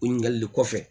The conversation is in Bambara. O ɲininkali le kɔfɛ